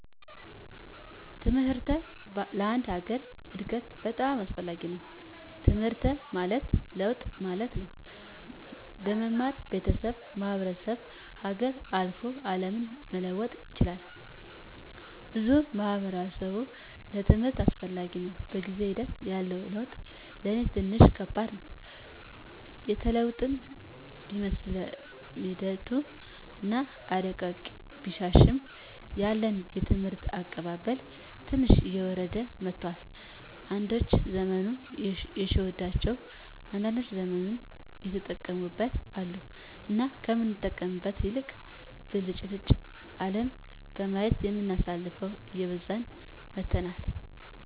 ትምሕርት ለአንድ ሀገር እድገት በጣም አስፈላጊ ነዉ። ትምሕርት ማለት ለውጥ ማለት ነው። በመማር ቤተሠብን፣ ማሕበረሰብን፣ ሀገርን፣ አልፎ አለምን መለወጥ ይቻላል ብሎም ለማሕበረሰቡ ትምህርት አስፈላጊ ነው። በጊዜ ሒደት ያለው ለውጥ ለኔ ትንሽ ከባድ ነው። የተለወጥን ቢመስለንምሒደቱ አና እረቂቁ ቢሻሻልም ያለን የትምህርት አቀባበል ትንሽ እየወረደ መጥቷል። አንዳዶች ዘመኑ የሸወዳቸው አንዳንዶች ዘመኑን የተጠቀሙበት አሉ። እና ከምንጠቀምበት ይልቅ ብልጭልጭ አለም በማየት የምናሳልፈው እየበዛን መጥተናል።